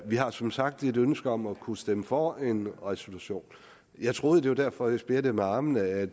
vi har som sagt et ønske om at kunne stemme for en resolution jeg troede og det derfor jeg spjættede med armene at